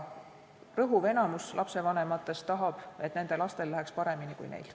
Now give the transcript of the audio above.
Enamik lapsevanematest tahab, et nende lastel läheks paremini kui neil.